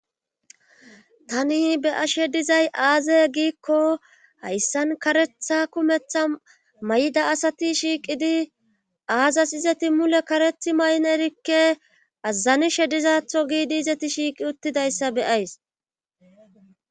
tani be'ashe dizay aaze giikko hayssan karetha kumetha mayida asati shiiqidi aazas izeti mule karethi mayin erikke azanishe dizaththo giidi izeti shiiqi uttidayssa beyays.